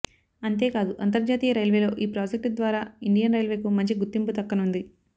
అంతేకాదు అంతర్జాతీయ రైల్వేలో ఈ ప్రాజెక్టు ద్వారా ఇండియన్ రైల్వేకు మంచి గుర్తింపు దక్కనుంది